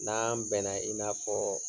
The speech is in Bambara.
N'an bɛnna i n'a fɔ